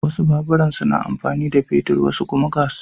Wasu baburan suna amfani da fetur wasu kuma gas.